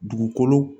Dugukolo